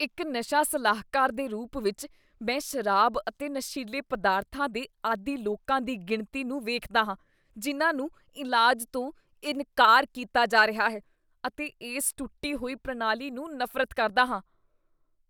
ਇੱਕ ਨਸ਼ਾ ਸਲਾਹਕਾਰ ਦੇ ਰੂਪ ਵਿੱਚ, ਮੈਂ ਸ਼ਰਾਬ ਅਤੇ ਨਸ਼ੀਲੇ ਪਦਾਰਥਾਂ ਦੇ ਆਦੀ ਲੋਕਾਂ ਦੀ ਗਿਣਤੀ ਨੂੰ ਵੇਖਦਾ ਹਾਂ ਜਿਨ੍ਹਾਂ ਨੂੰ ਇਲਾਜ ਤੋਂ ਇਨਕਾਰ ਕੀਤਾ ਜਾ ਰਿਹਾ ਹੈ ਅਤੇ ਇਸ ਟੁੱਟੀ ਹੋਈ ਪ੍ਰਣਾਲੀ ਨੂੰ ਨਫ਼ਰਤ ਕਰਦਾ ਹਾਂ।